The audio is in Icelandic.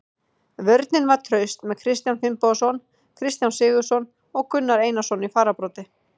Vörnin var traust með Kristján Finnbogason, Kristján Sigurðsson og Gunnar Einarsson í fararbroddi.